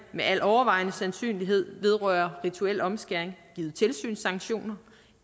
med al overvejende sandsynlighed vedrører rituel omskæring givet tilsynssanktioner